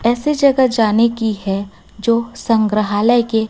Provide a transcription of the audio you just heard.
ऐसी जगह जाने की है जो संग्रहालय के--